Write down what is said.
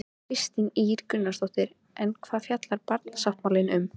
Kristín Ýr Gunnarsdóttir: En hvað fjallar barnasáttmálinn um?